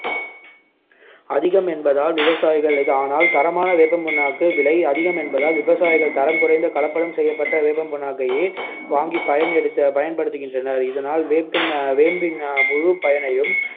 அதிகம் என்பதால் விவசாயிகள் ஆனால் தரமான வேப்பம்புண்ணாக்கு விலை அதிகம் என்பதால் விவசாயிகள் தரம் குறைந்த கலப்படம் செய்யப்பட்ட வேப்பம் புண்ணாக்கையே வாங்கி பயன்~ பயன்படுத்துகின்றனர் இதனால் வேப்பின்~ வேம்பின் முழுப்பயனையும்